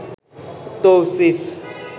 Tausif